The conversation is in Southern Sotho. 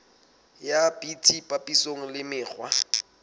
ya bt papisong le mekgwa